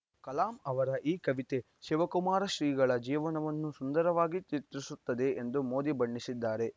ಕಲಾಂ ಅವರ ಈ ಕವಿತೆ ಶಿವಕುಮಾರ ಶ್ರೀಗಳ ಜೀವನವನ್ನು ಸುಂದರವಾಗಿ ಚಿತ್ರಿಸುತ್ತದೆ ಎಂದು ಮೋದಿ ಬಣ್ಣಿಸಿದ್ದಾರೆ